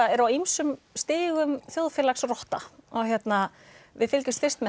eru á ýmsum stigum þjóðfélags rotta við fylgjumst fyrst með